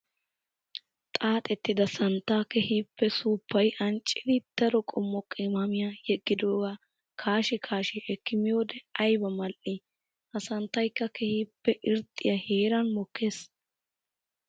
Xaaxettidda santta keehippe suufay ancciddi daro qommo qimaammiya yeggidooga kaashi kaashi ekki miyoode aybba mal'i! Ha santtaykka keehippe irxxiya heeran mokkees.